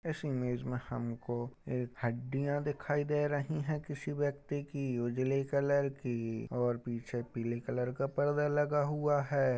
इस इमेज में हमको एक हड्डियाँ दिखाई दे रही हैं किसी व्यक्ति की उजली कलर की और पीछे पीली कलर का पर्दा लगा हुआ है।